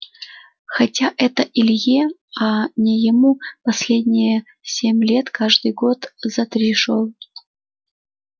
хотя это илье а не ему последние семь лет каждый год за три шёл